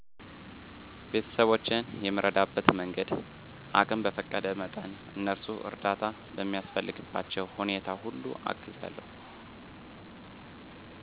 ቤተስቦቼን የምረዳበት መንገድ አቅም በፈቀደ መጠን እነሱ እርዳታ በሚያስፈልግባቸዉ ሁኔታ ሁሉ አግዛለዉ